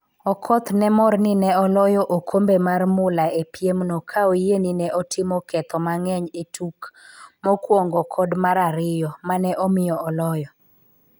Okoth ne mor ni ne oloyo okombe mar mula e piemno ka oyie ni ne otimo ketho mang'eny e tuk mokwongo kod mar ariyo, ma ne omiyo oloyo.